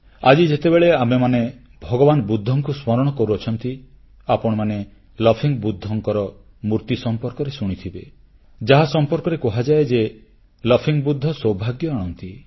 ଆଜି ଯେତେବେଳେ ଆମେମାନେ ଭଗବାନ ବୁଦ୍ଧଙ୍କୁ ସ୍ମରଣ କରୁଛୁ ଆପଣମାନେ ହସୁଥିବା ବୁଦ୍ଧLaughing Budhaଙ୍କର ମୂର୍ତ୍ତି ସମ୍ପର୍କରେ ଶୁଣିଥିବେ ଯାହା ସମ୍ପର୍କରେ କୁହାଯାଏ ଯେ ହସମୁଖ ବୁଦ୍ଧSmiling ବୁଧା ସୌଭାଗ୍ୟ ଆଣନ୍ତି